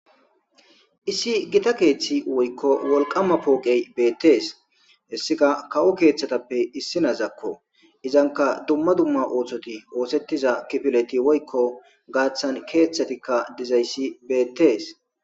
Issi gitta keththi woyikko wolqama poqey bettes hessikka kawo keththatappe issinazakko izankka dumma dumma oththoti oththetiza kifileti woyikko gaththan keththatikka dizayissi bettes